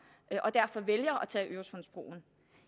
og derfor vælger at tage øresundsbroen